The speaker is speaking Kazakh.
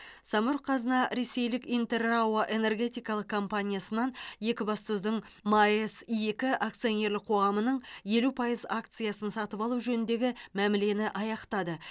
самұрық қазына ресейлік интер рао энергетикалық компаниясынан екібастұздың маэс екі акционерлік қоғамының елу пайыз акциясын сатып алу жөніндегі мәмілені аяқтады